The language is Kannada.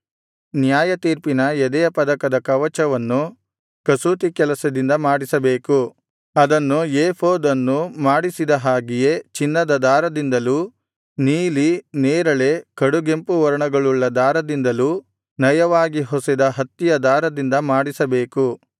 ನ್ಯಾಯತೀರ್ಪಿನ ಎದೆಯ ಪದಕದ ಕವಚವನ್ನು ಕಸೂತಿ ಕೆಲಸದಿಂದ ಮಾಡಿಸಬೇಕು ಅದನ್ನು ಏಫೋದ್ ಅನ್ನು ಮಾಡಿಸಿದ ಹಾಗೆಯೇ ಚಿನ್ನದ ದಾರದಿಂದಲೂ ನೀಲಿ ನೇರಳೆ ಕಡುಗೆಂಪು ವರ್ಣಗಳುಳ್ಳ ದಾರದಿಂದಲೂ ನಯವಾಗಿ ಹೊಸೆದ ಹತ್ತಿಯ ದಾರದಿಂದ ಮಾಡಿಸಬೇಕು